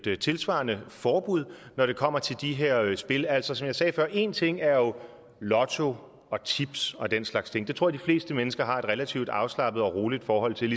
et tilsvarende forbud når det kommer til de her spil altså som jeg sagde før én ting er jo lotto og tips og den slags ting det tror jeg de fleste mennesker har et relativt afslappet og roligt forhold til